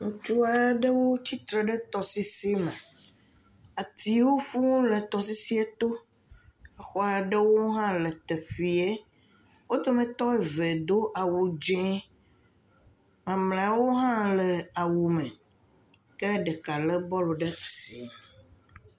Ŋutsu aɖewo tsitre ɖe tɔsisime. Atiwo fũuu le tɔsisiɛ to. Exɔ aɖewo hã le teƒeɛ. Wo dometɔ ve do awu dzẽ. Mamlɛwo hã le awume. Ke ɖeka lé bɔlu ɖe asi.